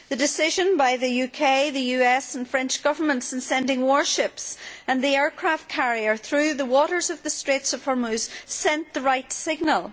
The decision by the UK, the US and French Governments in sending warships and the aircraft carrier through the waters of the Strait of Hormuz sent the right signal.